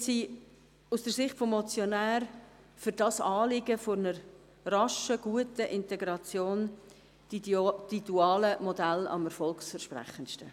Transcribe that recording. Jetzt sind aus Sicht des Motionärs die dualen Modelle für das Anliegen einer raschen, guten Integration am erfolgversprechendsten.